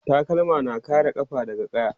takalma na kare kafa daga ƙaya